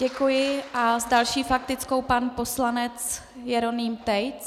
Děkuji a s další faktickou pan poslanec Jeroným Tejc.